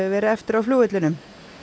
verið eftir á flugvellinum